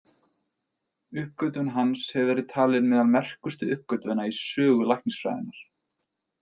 Uppgötvun hans hefur verið talin meðal merkustu uppgötvana í sögu læknisfræðinnar.